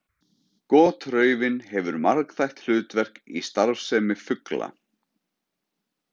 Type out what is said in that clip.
Gotraufin hefur margþætt hlutverk í starfsemi fugla.